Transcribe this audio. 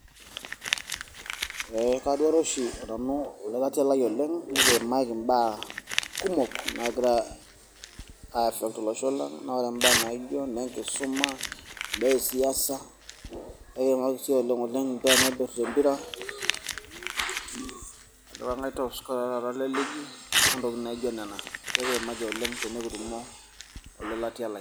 Eh, kaduare oshi nanu olelatia lai nekiimaki imbaa kumook nagira asa tolosho lang'. Naa ore mbaa naijo nenkisuma, imbaa esiasa ekiimaki sii oleng oleng imbaa naipirta empira, ajo ng'ai taata top scorer le ligi, o ntokitin najo nena, ekiimaki oleng tenekitumo ole latia lai.